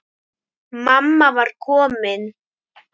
Mamma var komin.